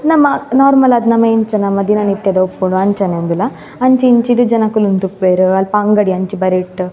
ಉಂದ್ ನಮ ನೋರ್ಮಲ್ ಆದ್ ನಮ ಎಂಚ ನಮ ದಿನನಿತ್ಯದ ಉಪ್ಪುಂಡು ಅಂಚನೆ ಉಂದುಲ ಅಂಚಿ ಇಂಚಿ ಡ್ ಜನಕುಲು ಉಂತ್ತುಪ್ಪುವೆರ್ ಅಲ್ಪ ಅಂಗಡಿ ಅಂಚಿ ಬರಿಟ್.